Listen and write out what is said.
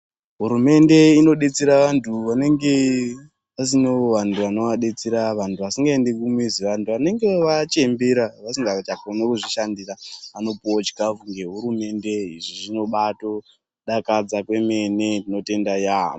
Hurumende inodetsera vantu vanenge vasina vanhu vano vadetsera vantu vasingaendi kumizi vanhu vanenge vachembera vasingachakoni wo kuzvishandira vanopiwawo chikafu nehurumende izvi zvino baa dakadza kwemene tinotenda yamho.